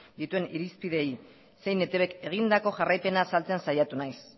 dituen irizpideei zein etbk egindako jarraipena azaltzen saiatu naiz